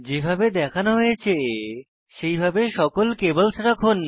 যেভাবে দেখানো হয়েছে সেইভাবে সকল কেব্ল্স রাখুন